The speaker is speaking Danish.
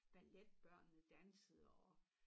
Balletbørnene dansede og